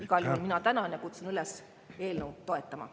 Igal juhul mina tänan ja kutsun üles eelnõu toetama.